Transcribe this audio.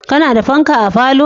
Ka na da fanka a falo?